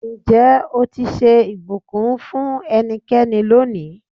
Ǹjẹ́ o ti ṣe ìbùkún fún ẹnikẹ́ni lónìí?